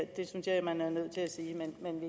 det synes jeg man er nødt til at sige